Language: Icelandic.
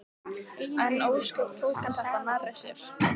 En ósköp tók hann þetta nærri sér.